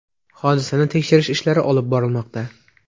Hodisani tekshirish ishlari olib borilmoqda.